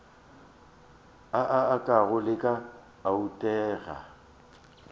o a go leka oanteka